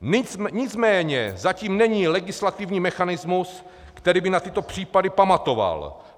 Nicméně zatím není legislativní mechanismus, který by na tyto případy pamatoval.